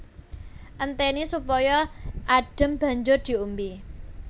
Entèni supaya adhem banjur diombé